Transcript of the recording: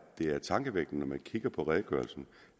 det er tankevækkende når man kigger på redegørelsen